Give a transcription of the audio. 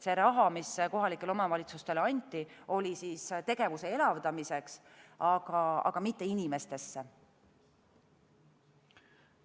See raha, mis kohalikele omavalitsustele anti, oli tegevuse elavdamiseks, mitte inimestesse.